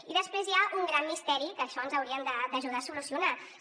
i després hi ha un gran misteri que això ens haurien d’ajudar a solucionar ho